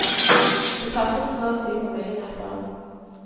Det passet så og si på millimeteren.